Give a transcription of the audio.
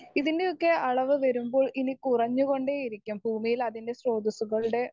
speaker 1 ഇതിൻ്റെ ഒക്കെ അളവ് വരുമ്പോൾ ഇനി കുറഞ്ഞു കൊണ്ടേയിരിക്കും ഭൂമിയിൽ അതിൻ്റെ സ്രോതസ്സുകളുടെ